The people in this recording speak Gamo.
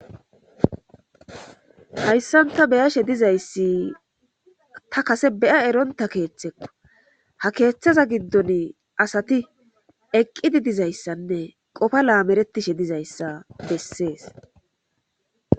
Hayssanta beyashe dizayssi ta kase beya eronta keeththekko ha keeththaza giddon asati eqqidi dizayssanne qofa laameretishe dizayssa bessees